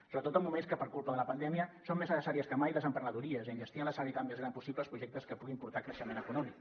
sobretot en moments que per culpa de la pandèmia són més necessàries que mai les emprenedories i enllestir amb la celeritat més gran possible els projectes que puguin portar creixement econòmic